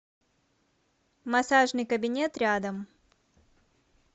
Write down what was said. массажный кабинет рядом